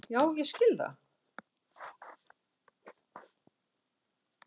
Já ég skil það.